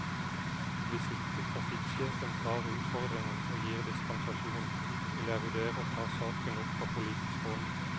Hvis ikke trafikksjefen tar utfordringen og gir dispensasjon, vil jeg vurdere å ta saken opp på politisk hold.